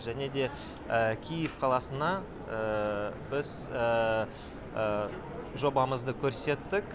және де киев қаласына біз жобамызды көрсеттік